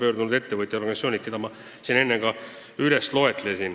Ma lugesin need nimed juba enne üles.